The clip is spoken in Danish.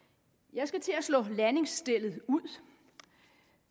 jeg skal til at slå landingsstellet ud